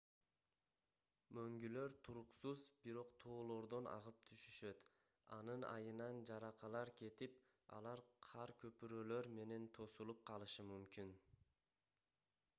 мөңгүлөр туруксуз бирок тоолордон агып түшүшөт анын айынан жаракалар кетип алар кар көпүрөлөр менен тосулуп калышы мүмкүн